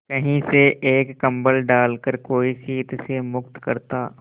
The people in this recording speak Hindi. कहीं से एक कंबल डालकर कोई शीत से मुक्त करता